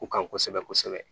U kan kosɛbɛ kosɛbɛ